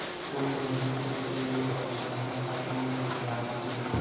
कोई नहीं तो तेरे अपने हैं सपने ये प्यार के